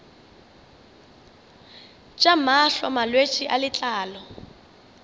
tša mahlo malwetse a letlalo